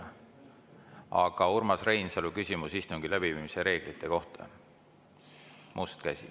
Aga Urmas Reinsalul on küsimus istungi läbiviimise reeglite kohta, must käsi.